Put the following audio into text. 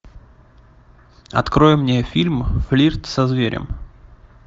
открой мне фильм флирт со зверем